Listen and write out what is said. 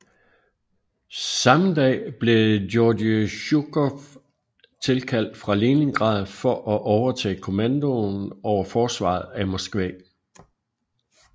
Samme dag blev Georgij Zjukov tilkaldt fra Leningrad for at overtage kommandoen over forsvaret af Moskva